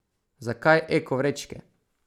Zakaj eko vrečke?